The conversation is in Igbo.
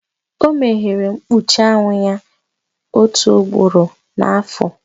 O meghere mkpuchi anwụ ya otu ugboro n'afọ.